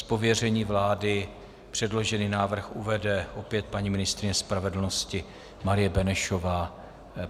Z pověření vlády předložený návrh uvede opět paní ministryně spravedlnosti Marie Benešová.